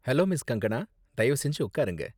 Hello, miss. Kangana! தயவு செஞ்சு உக்காருங்க.